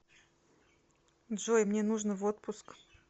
джой мне нужно в отпуск